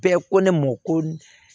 Bɛɛ ko ne mɔ ko